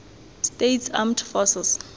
states armed forces